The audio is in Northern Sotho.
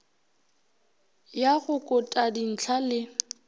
ya go kota dihlwa le